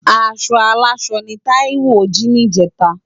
Aṣọ áláṣọ ni Taiwo ji nijétá